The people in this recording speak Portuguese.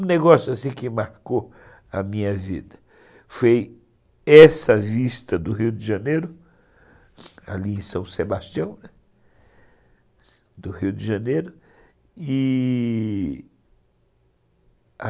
Um negócio assim que marcou a minha vida foi essa vista do Rio de Janeiro, ali em São Sebastião, do Rio de Janeiro, e a...